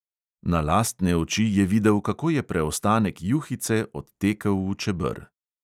Na lastne oči je videl, kako je preostanek juhice odtekel v čeber.